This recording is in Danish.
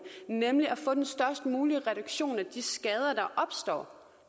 nemlig at få den størst mulige reduktion af de skader der opstår